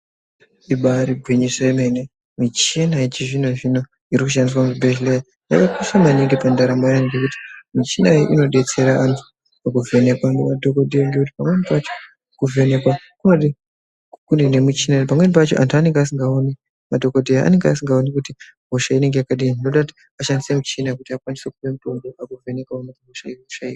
Ibaari gwinyiso yemene, michina yechizvino zvino inoshandiswa muzvibhedhlera yakakosha maningi pandaramo yevantu ngekuti michina iyi inobetsera vantu pakuvhenekwa ngemadhokodheya ngekuti pamweni pacho kuvhenekwa kunode kune michins ngekuti pamweni pacho vantu vanenge vasikaoni, madhokodheya anenge vasikaoni kuti hosha iyi yakadini zvinoita kuti vashandise michina pakuvheneka hosha iyi.